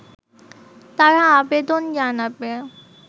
তারা আবেদন জানাবে